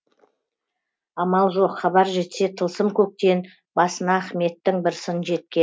амал жоқ хабар жетсе тылсым көктен басына ахметтің бір сын